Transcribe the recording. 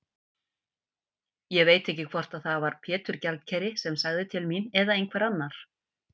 Ég veit ekki hvort það var Pétur gjaldkeri sem sagði til mín eða einhver annar.